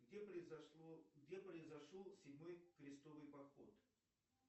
где произошел седьмой крестовый поход